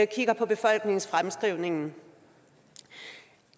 kigger på befolkningsfremskrivningen